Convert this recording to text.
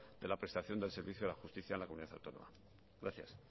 de la prestación del servicio a la justicia a la comunidad autónoma gracias